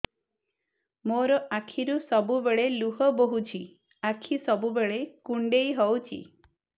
ମୋର ଆଖିରୁ ସବୁବେଳେ ଲୁହ ବୋହୁଛି ଆଖି ସବୁବେଳେ କୁଣ୍ଡେଇ ହଉଚି